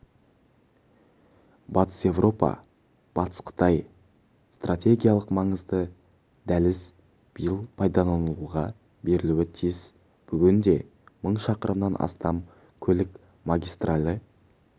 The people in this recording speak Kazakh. батыс еуропа-батыс қытай стратегиялық маңызды дәліз биыл пайдаланылуға берілуі тиіс бүгінде мың шақырымнан астам көлік магистралі